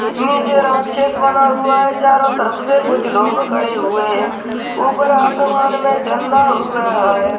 नीचे राक्षस बना हुआ है चारों तरफ से कुछ लोग खड़े हुए है ऊपर आसमान मे चन्दा उग रहा है ।